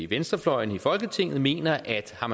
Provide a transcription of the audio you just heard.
venstrefløjen i folketinget mener at har